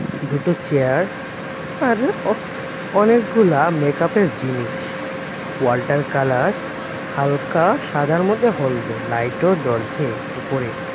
দুটো চেয়ার আর অ-অনেকগুলা মেকাপের জিনিস ওয়ালটার কালার হালকা সাদার মধ্যে হলদে লাইটও জ্বলছে উপরে.